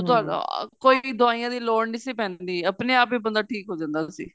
ਤੁਹਾਨੂੰ ਕੋਈ ਵੀ ਦਵਾਈਆਂ ਦੀ ਲੋੜ ਨੀਂ ਸੀ ਪੈਂਦੀ ਆਪਣੇ ਆਪ ਹੀ ਬੰਦਾ ਠੀਕ ਹੋ ਜਾਂਦਾ ਸੀ